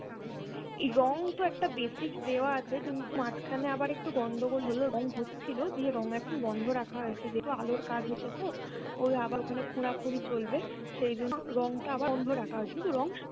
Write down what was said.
রং তো একটা basic দেওয়া আছে কিন্তু মাঝখানে আবার একটু গণ্ডগোল হলো রং হচ্ছিলো দিয়ে রং এখন বন্ধ রাখা হয়েছে যেহেতু আলোর কাজ হচ্ছে তো ওই আবার ওখানে খোঁড়া খুঁড়ি চলবে সেজন্য রংটা আবার বন্ধ রাকা হয়েছে কিন্তু রং